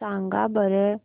सांगा बरं